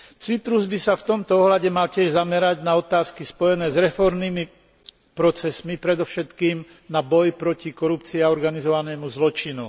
Cyprus by sa v tomto ohľade mal tiež zamerať na otázky spojené s reformnými procesmi, predovšetkým na boj proti korupcii a organizovanému zločinu.